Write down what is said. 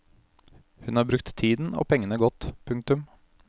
Hun har brukt tiden og pengene godt. punktum